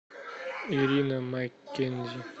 ирина маккензи